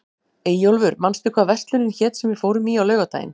Eyjólfur, manstu hvað verslunin hét sem við fórum í á laugardaginn?